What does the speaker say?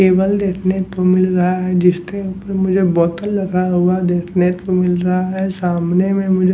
cable देखने को मिल रहा है जिसके ऊपर मुझे बोतल रखा हुआ देखने को मिल रहा है सामने में मुझे --